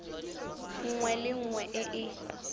nngwe le nngwe e e